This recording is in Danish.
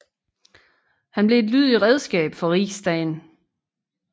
Han blev et lydigt redskab for riksdagen